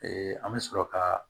an bɛ sɔrɔ ka